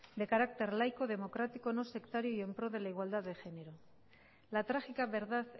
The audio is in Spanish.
de carácter laico democrático no sectario y en pro de la igualdad de género la trágica verdad